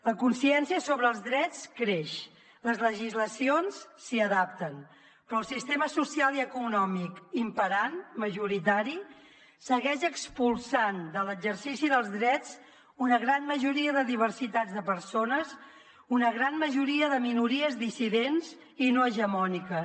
la consciència sobre els drets creix les legislacions s’hi adapten però el sistema social i econòmic imperant majoritari segueix expulsant de l’exercici dels drets una gran majoria de diversitat de persones una gran majoria de minories dissidents i no hegemòniques